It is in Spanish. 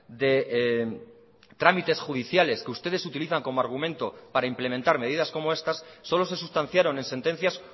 de trámites judiciales que ustedes utilizan como argumento para implementar medidas como estas solo se sustanciaron en sentencias